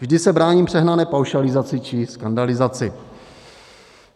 Vždy se bráním přehnané paušalizaci či skandalizaci.